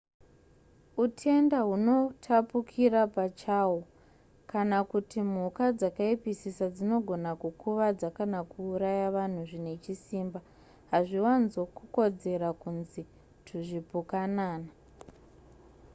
utenda hunotapukira pachahwo kana kuti mhuka dzakaipisisa dzinogona kukuvadza kana kuuraya vanhu zvine chisimba hazviwanzo kukodzera kunzi tuzvipukanana